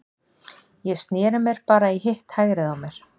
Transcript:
Ég sneri mér bara í hitt hægrið á mér.